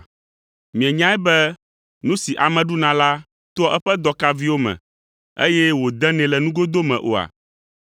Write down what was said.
Mienyae be nu si ame ɖuna la toa eƒe dɔkaviwo me, eye wòdenɛ le nugodo me oa?